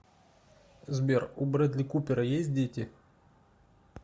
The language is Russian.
сбер у брэдли купера есть дети